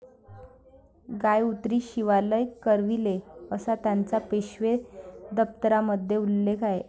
गाय उतरी शिवालय करविले'असा त्याचा पेशवे दप्तरामध्ये उल्लेख आहे.